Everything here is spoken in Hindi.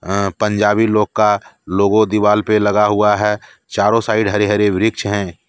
अ पंजाबी लोग का लोगो दीवाल पे लगा हुआ है चारों साइड हरे हरे वृक्ष हैं।